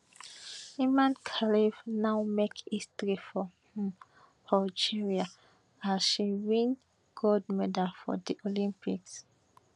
imane khelif now make history for um algeria as she win gold medal for di olympics